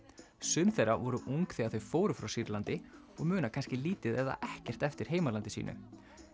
sum þeirra voru ung þegar þau fóru frá Sýrlandi og muna kannski lítið eða ekkert eftir heimalandi sínu